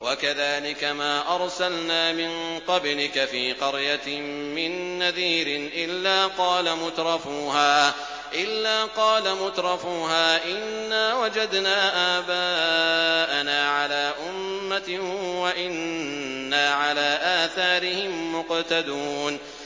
وَكَذَٰلِكَ مَا أَرْسَلْنَا مِن قَبْلِكَ فِي قَرْيَةٍ مِّن نَّذِيرٍ إِلَّا قَالَ مُتْرَفُوهَا إِنَّا وَجَدْنَا آبَاءَنَا عَلَىٰ أُمَّةٍ وَإِنَّا عَلَىٰ آثَارِهِم مُّقْتَدُونَ